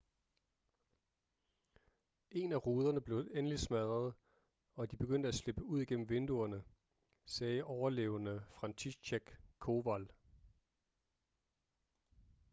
en af ruderne blev endelig smadret og de begyndte at slippe ud gennem vinduerne sagde overlevende franciszek kowal